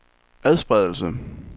adspredelse